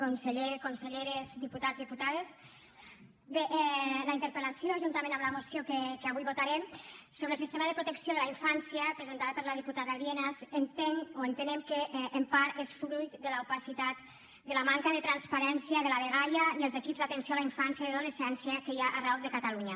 conseller conselleres diputats diputades bé la interpel·lació juntament amb la moció que avui votarem sobre el sistema de protecció de la infància presentada per la diputada lienas entenem que en part és fruit de l’opacitat de la manca de transparència de la dgaia i els equips d’atenció a la infància i adolescència que hi ha arreu de catalunya